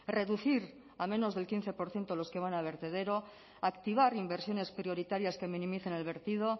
reducir a menos del quince por ciento los que van a vertedero activar inversiones prioritarias que minimicen el vertido